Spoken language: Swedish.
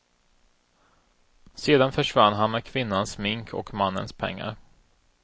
Sedan försvann han med kvinnans smink och mannens pengar.